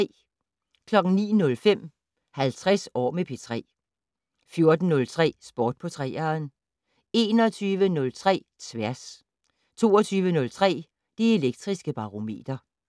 09:05: 50 år med P3 14:03: Sport på 3'eren 21:03: Tværs 22:03: Det Elektriske Barometer